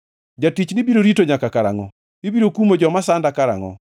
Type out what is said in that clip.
Jatichni biro rito nyaka karangʼo? Ibiro kumo joma sanda karangʼo?